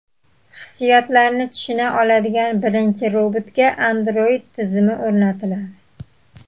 Hissiyotlarni tushuna oladigan birinchi robotga Android tizimi o‘rnatiladi.